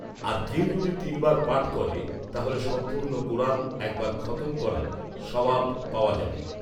আর কেউ যদি তিন বার পাঠ করে তাহলে সম্পূর্ণ কোরান এক বার খতম করার সাওয়াব পাওয়া যাবে